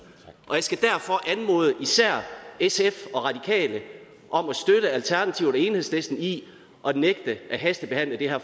og jeg skal derfor anmode især sf og radikale om at støtte alternativet og enhedslisten i at nægte at hastebehandle det her